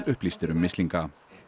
upplýstir um mislinga